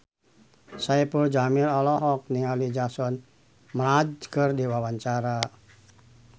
Saipul Jamil olohok ningali Jason Mraz keur diwawancara